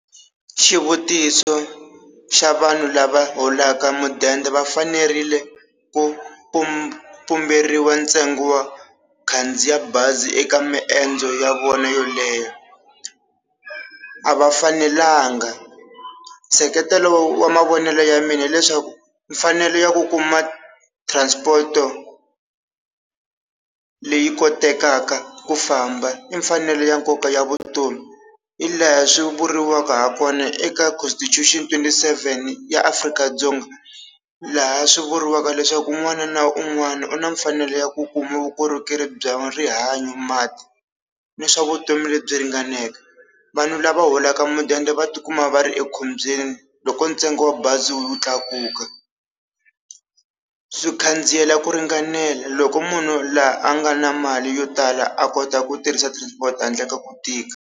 Xivutiso xa vanhu lava holaka mudende va fanerile ku pumberiwa ntsengo wo khandziya bazi eka maendzo ya vona yo leha a va fanelanga, nseketelo wa mavonelo ya mina hileswaku mfanelo ya ku kuma transport-o leyi kotekaka ku famba i mfanelo ya nkoka ya vutomi, i laha swi vuriwaka ha kona eka constitution twenty-seven ya Afrika-Dzonga, laha swi vuriwaka leswaku un'wana na un'wana u na mfanelo ya ku kuma vukorhokeri bya rihanyo, ni swa vutomi lebyi ringaneke vanhu lava holaka mudende va tikuma va ri ekhombyeni loko ntsengo wa bazi wu tlakuka swi khandziyela ku ringanela loko munhu laha a nga na mali yo tala a kota ku tirhisa transport handle ka ku tika.